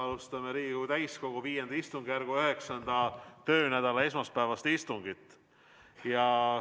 Alustame Riigikogu täiskogu V istungjärgu 9. töönädala esmaspäevast istungit.